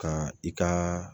Ka i ka